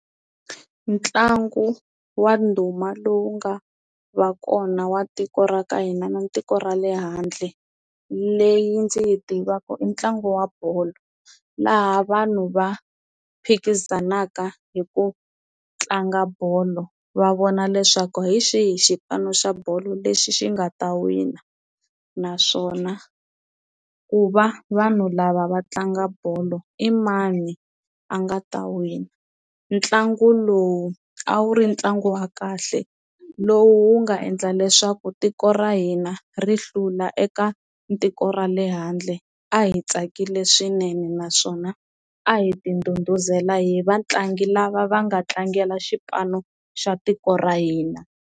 Ntlangu wa ndhuma lowu nga va kona wa tiko ra ka hina na tiko ra le handle leyi ndzi yi tivaka i ntlangu wa bolo, laha vanhu va phikizanaka hi ku a tlanga bolo va vona leswaku hi xihi xipano xa bolo lexi xi nga ta wina naswona ku va vanhu lava va tlanga bolo i mani a nga ta wina, ntlangu lowu a wu ri ntlangu wa kahle lowu wu nga endla leswaku tiko ra hina ri hlula eka tiko ra le handle a hi tsakile swinene naswona a hi ti ndhudhuzela hi vatlangi lava va nga tlangela xipano xa tiko ra hina.